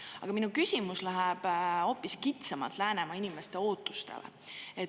Aga minu küsimus läheb hoopis kitsamalt Läänemaa inimeste ootustele.